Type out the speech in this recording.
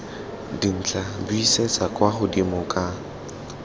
dintlha buisetsa kwa godimo ka